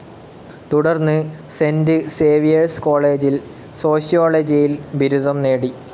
തുടർന്ന് Saint Xavier's കോളേജിൽ സോഷ്യോളജിയിൽ ബിരുദം നേടി.